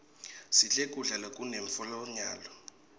sidle kudla lokune mphlonyalo